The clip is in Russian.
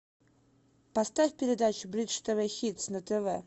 поставь передачу бридж тв хитс на тв